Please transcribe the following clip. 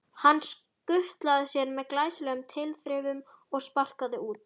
Hann skutlaði sér með glæsilegum tilþrifum og sparkaði út.